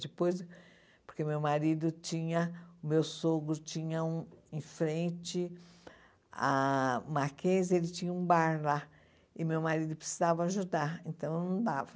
Depois, porque meu marido tinha, o meu sogro tinha um em frente a Marquês, ele tinha um bar lá e meu marido precisava ajudar, então não dava.